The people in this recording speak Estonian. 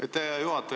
Aitäh, hea juhataja!